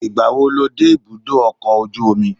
Ìgbàwo lo dé ibùdó ọkọ̀ ojú omi?